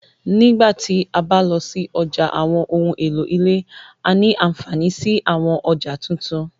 Nígbà ti a ba lọ si ọja awọn ohun elo ile, a ní anfaani si àwọn ọja tuntun